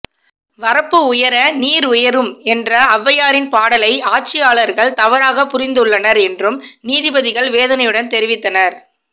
வரப்பு உயர நீர் உயரும் என்ற ஔவையாரின் பாடலை ஆட்சியாளர்கள் தவறாக புரிந்துள்ளனர் என்றும் நீதிபதிகள் வேதனையுடன் தெரிவித்தனர்